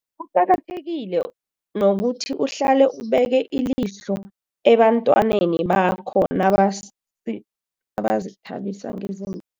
Kuqakathekile nokuthi uhlale ubeke ilihlo ebantwaneni bakho nabazithabisa ngezin